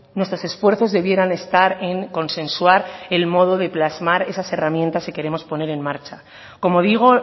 nuestros esfuerzos debieran estar en consensuar el modo de plasmar esas herramientas que queremos poner en marcha como digo